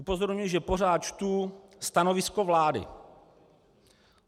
Upozorňuji, že pořád čtu stanovisko vlády.